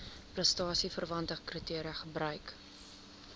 prestasieverwante kriteria gebruik